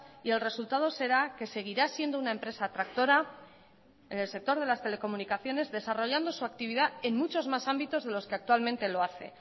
y el resultado será que seguirá siendo una empresa tractora en el sector de las telecomunicaciones desarrollando su actividad en muchos más ámbitos en los que actualmente lo hace